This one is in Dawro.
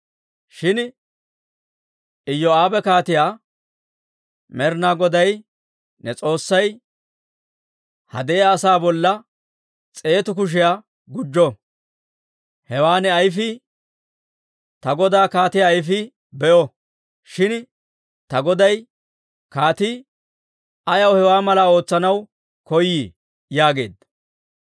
Shin Iyoo'aabe kaatiyaa, «Med'inaa Goday ne S'oossay ha de'iyaa asaa bolla s'eetu kushiyaa gujjo! Hewaa ne ayfii, ta godaa kaatiyaa ayfii be'o! Shin ta goday kaatii ayaw hewaa malaa ootsanaw koyii?» yaageedda.